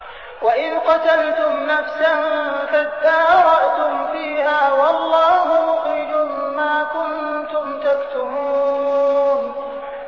وَإِذْ قَتَلْتُمْ نَفْسًا فَادَّارَأْتُمْ فِيهَا ۖ وَاللَّهُ مُخْرِجٌ مَّا كُنتُمْ تَكْتُمُونَ